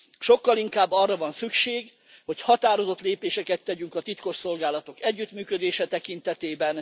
Sokkal inkább arra van szükség, hogy határozott lépéseket tegyünk a titkosszolgálatok együttműködése tekintetében.